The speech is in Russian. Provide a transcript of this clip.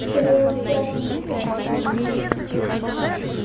скорее уж спятим мы с тобой